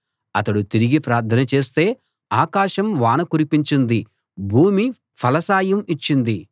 అతడు తిరిగి ప్రార్థన చేస్తే ఆకాశం వాన కురిపించింది భూమి ఫలసాయం ఇచ్చింది